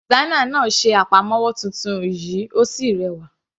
Designer náà ṣe àpamọ́wọ́ titun yìí Ó sì rẹwà.